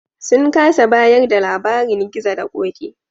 Sun kasa bayar da labarin Gizo da Ƙoƙi.